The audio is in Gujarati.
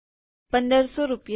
૧૫૦૦ રૂપિયા